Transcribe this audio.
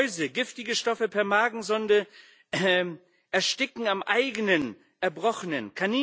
Mäuse, giftige Stoffe per Magensonde, Ersticken am eigenen Erbrochenen